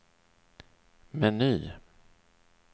meny